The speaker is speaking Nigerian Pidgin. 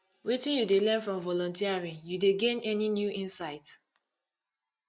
wetin you dey learn from volunteering you dey gain any new insight